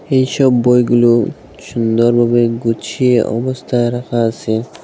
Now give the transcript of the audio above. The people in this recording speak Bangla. এইসব বইগুলো সুন্দরভাবে গুছিয়ে অবস্থায় রাখা আসে।